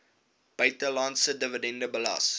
buitelandse dividende belas